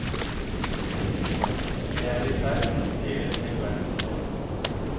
Jeg er i ferd med å stjele en hel verdensdel.